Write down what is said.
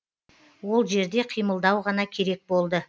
ол жерде қимылдау ғана керек болды